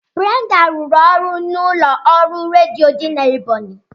Brenda rụrụ ọrụ n'ụlọ ọrụ redio Ebonyi